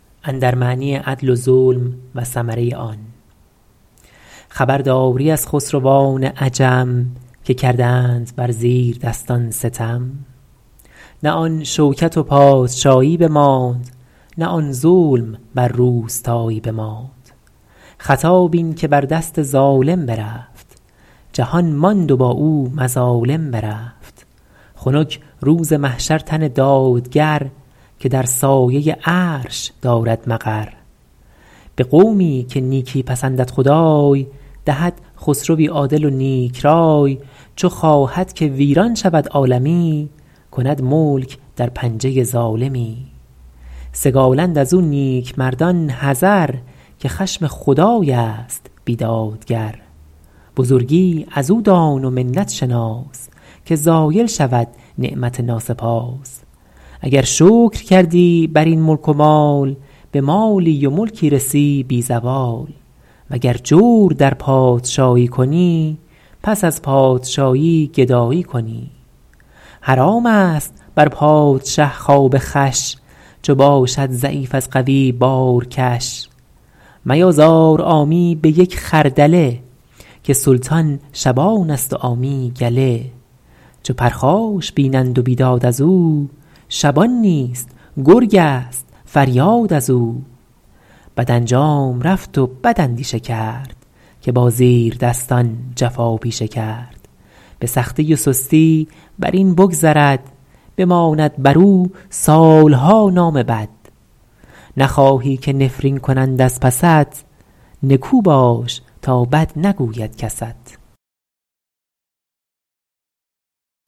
خبرداری از خسروان عجم که کردند بر زیردستان ستم نه آن شوکت و پادشایی بماند نه آن ظلم بر روستایی بماند خطا بین که بر دست ظالم برفت جهان ماند و با او مظالم برفت خنک روز محشر تن دادگر که در سایه عرش دارد مقر به قومی که نیکی پسندد خدای دهد خسروی عادل و نیک رای چو خواهد که ویران شود عالمی کند ملک در پنجه ظالمی سگالند از او نیکمردان حذر که خشم خدای است بیدادگر بزرگی از او دان و منت شناس که زایل شود نعمت ناسپاس اگر شکر کردی بر این ملک و مال به مالی و ملکی رسی بی زوال وگر جور در پادشایی کنی پس از پادشایی گدایی کنی حرام است بر پادشه خواب خوش چو باشد ضعیف از قوی بارکش میازار عامی به یک خردله که سلطان شبان است و عامی گله چو پرخاش بینند و بیداد از او شبان نیست گرگ است فریاد از او بد انجام رفت و بد اندیشه کرد که با زیردستان جفا پیشه کرد به سختی و سستی بر این بگذرد بماند بر او سالها نام بد نخواهی که نفرین کنند از پست نکو باش تا بد نگوید کست